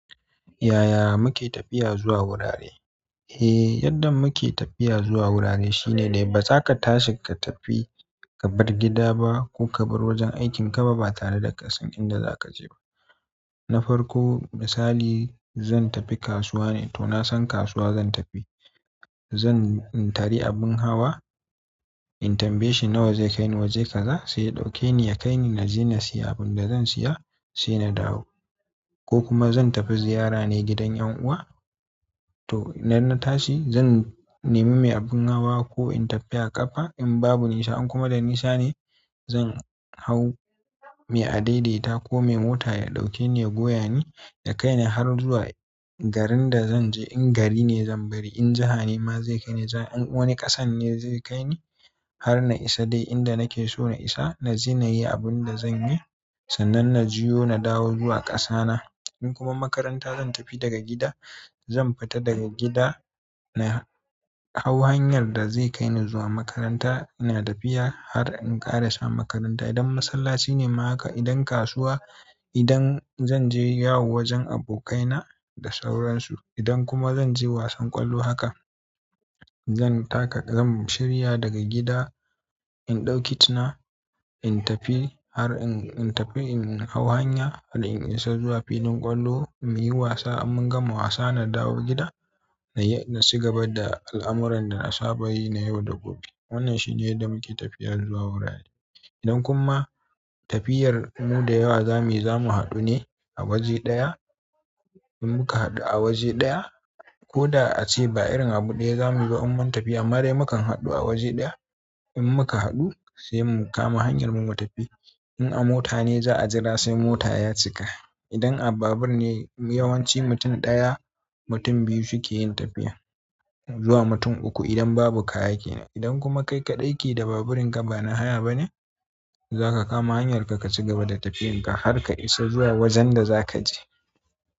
Yaya muke tafiya zuwa wurare? Eh, yadda muke tafiya zuwa wurare shine dai baza ka tashi ka tafi ka bar gida ba ko ka bar wajen aikin ka ba tare da kasan inda zaka je ba. Na farko misali zan tafi kasuwa ne, to na san kasuwa zan tafi. Zan, in tari abin hawa in tambayi shi nawa zai kaini waje kaza sai ya ɗauke ni ya kaini. Na ji na siya abin da zan siya sai na dawo. Ko kuma zan tafi ziyara ne gidan ƴan uwa to idan na tashi zan nemi mai abin hawa ko in tafi a ƙafa in babu nisa. In kuma da nisa ne zan hau mai a daidaita ko mai mota ya ɗauke ni ya goya ni ya kaini har zuwa garin da zan je in gari ne zan bari. In jiha ne ma zai kaini. In wani ƙasan ne zai kaini har na isa dai inda nake so na isa naje na yi abinda zan yi sannan na jiyo na dawo zuwa ƙasa na. In kuma makaranta zan tafi daga gida zan fita daga gida na hau hanyar da zai kaini zuwa makaranta ina tafiya har in ƙara sa makaranta. Idan masallaci ne ma haka. Idan kasuwa, idan zan je yawo wajen abokaina da sauransu. Idan kuma zan je wasan ƙwallo haka zan taka zan shirya daga gida in ɗauki kit na in tafi har in, in tafi in hau hanya har in isa zuwa filin ƙwallo mu yi wasa. In mun gama wasa na dawo gida na yi, na ci gaba da al'amuran da na saba yi na yau da gobe. Wannan shi ne yadda muke tafiya zuwa wurare. Idan kuma tafiyar mu da yawa zamu yi zamu haɗu ne a waje ɗaya in muka haɗu a waje ɗaya ko da ace ba irin abu ɗaya zamuyi ba amma tafiya amma dai mukan haɗu a waje ɗaya. In muka haɗu sai mu kama hanyar mu mutafi in a mota ne za a jira sai mota ya cika. Idan a babur ne yawanci mutum ɗaya, mutum biyu suke yin tafiya zuwa mutum uku idan babu kaya kenan. Idan kuma kai kaɗai ke da baburin ka ba na haya ba ne zaka kama hanyar ka, kacigaba da tafiyar ka har ka isa zuwa wajen da za ka je.